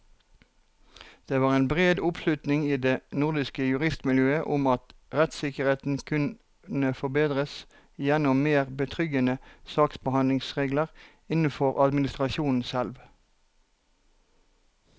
Det var bred oppslutning i det nordiske juristmiljøet om at rettssikkerheten kunne forbedres gjennom mer betryggende saksbehandlingsregler innenfor administrasjonen selv.